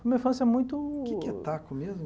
Como eu falo, isso é muito... O que é que é taco mesmo?